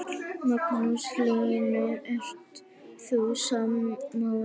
Magnús Hlynur: Ert þú sammála?